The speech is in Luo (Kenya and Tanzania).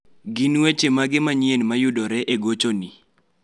Gin weche mage manyien mayudore e gochoni?